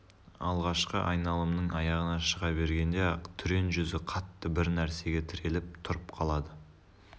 алғашқы айналымның аяғына шыға бергенде-ақ түрен жүзі қатты бір нәрсеге тіреліп тұрып қалады